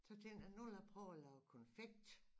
Så tænkte jeg nu vil jeg prøve at lave konfekt